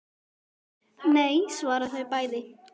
Nei svara þau bæði.